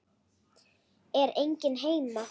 Er enginn heima?